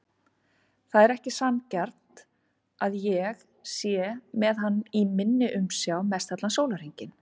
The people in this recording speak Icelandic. Það er ekki sanngjarnt að ég sé með hann í minni umsjá mestallan sólarhringinn.